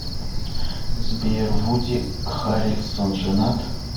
сбер вуди харрельсон женат